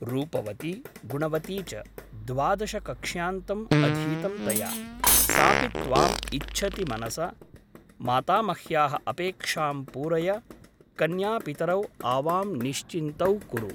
रूपवती गुणवती च । द्वादशकक्ष्यान्तम् अधीतं तया । सापि त्वाम् इच्छति मनसा । मातामह्याः अपेक्षां पूरय कन्या पितरौ आवां निश्चिन्तौ कुरु ।